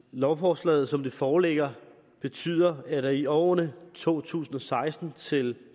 lovforslaget som det foreligger betyder at der i årene to tusind og seksten til